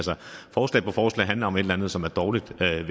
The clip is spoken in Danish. forslag på forslag handler om et eller andet som er dårligt ved